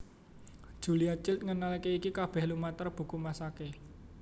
Julia Child ngenalaké iki kabéh lumantar buku masaké